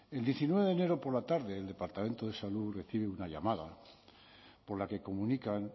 el diecinueve de enero por la tarde del departamento de salud recibe una llamada por la que comunican